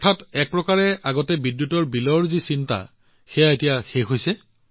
অৰ্থাৎ এক প্ৰকাৰে বিদ্যুৎ বিলৰ পূৰ্বৰ চিন্তা শেষ হৈছে